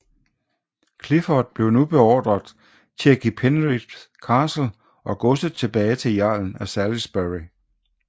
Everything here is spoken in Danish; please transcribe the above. Clifford blev nu beordret til at give Penrith Castle og godset tilbage til jarlen af Salisbury